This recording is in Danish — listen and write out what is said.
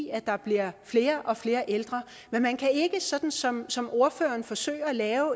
i at der bliver flere og flere ældre men man kan ikke sådan som som ordføreren forsøger lave